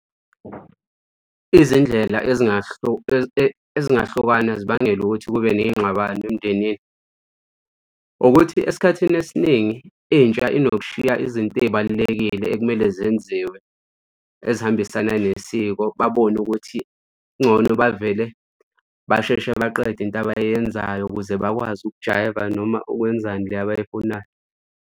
Izindlela ezingahlukana zibangelwa ukuthi kube ney'ngxabano emndenini, ukuthi esikhathini esiningi intsha inokushiya izinto ey'balulekile ekumele zenziwe ezihambisana nesiko babone ukuthi kungcono bavele basheshe baqede into abayenzayo ukuze bakwazi ukujayiva noma ukwenzani le abayifunayo.